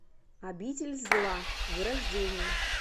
обитель зла вырождение